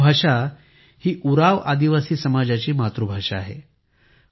कुडूख भाषा उरांव आदिवासी समाजाची मातृभाषा आहे